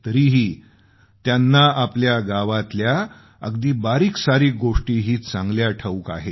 तरीही त्यांना आपल्या गावातल्या अगदी बारीकसारीक गोष्टीही चांगल्या ठाऊक आहेत